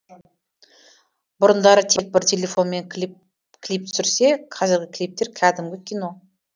бұрындары тек бір телефонмен клип түсірсе қазіргі клиптер кәдімгі кино